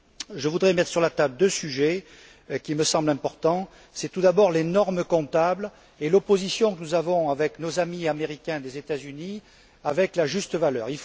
Je voudrais mettre sur la table deux sujets qui me semblent importants tout d'abord les normes comptables et l'opposition que nous avons, avec nos amis américains des États Unis, avec la juste valeur.